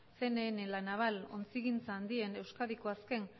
cnn la naval ontzigintza handien euskadiko azken